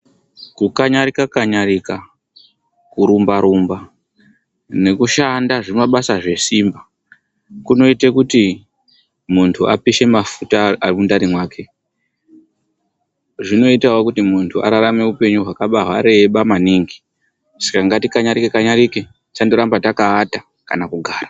Kukanyarika-kanyarika, kurumbarumba, nekushanda zvimabasa zvesimba, kunoite kuti muntu apishe mafuta ari mundani mwake. Zvinoitawo kuti muntu ararame upenyu hwakaba hwareba maningi. Saka ngatikanjarike-kanjarike, tisandoramba takaata kana kugara.